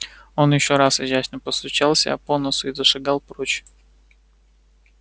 он ещё раз изящно постучал себя по носу и зашагал прочь